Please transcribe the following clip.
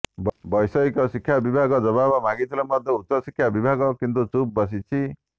ବ୘ଷୟିକ ଶିକ୍ଷା ବିଭାଗ ଜବାବ ମାଗିଥିଲେ ମଧ୍ୟ ଉଚ୍ଚଶିକ୍ଷା ବିଭାଗ କିନ୍ତୁ ଚୁପ୍ ବସିଛି